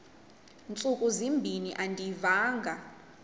ntsuku zimbin andiyivanga